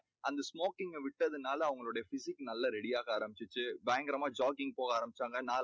அந்த smoking க விட்டதுனால அவங்க physic நல்லா ready யாக ஆரம்பிச்சிடுச்சு. பயங்கரமா jogging போக ஆரம்பிச்சாங்க.